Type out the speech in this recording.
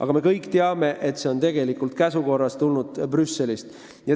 Aga me kõik teame, et see regulatsioon on tulnud käsu korras Brüsselist.